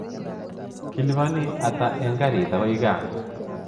Kiliboni ata eng garit akoi gaa?